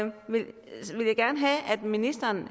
ministeren